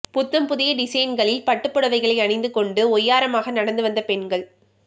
புத்தம் புதிய டிசைன்களில் பட்டுப் புடவைகளை அணிந்து கொண்டு ஒய்யாரமாக நடந்து வந்த பெண்கள்